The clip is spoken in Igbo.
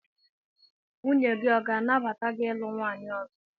Nwunye gị ọ ga-anabata gị ilu nwaanyị ọzọ?